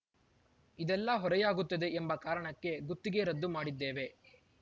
ಇದೆಲ್ಲಾ ಹೊರೆಯಾಗುತ್ತದೆ ಎಂಬ ಕಾರಣಕ್ಕೆ ಗುತ್ತಿಗೆ ರದ್ದು ಮಾಡಿದ್ದೇವೆ